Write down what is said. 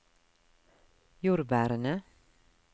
jordbærene